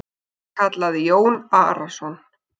kallaði Jón Arason.